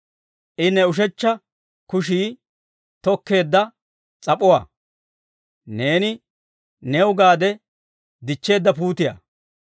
I ne ushechcha kushii tokkeedda s'ap'uwaa; neeni new gaade dichcheedda puutiyaa.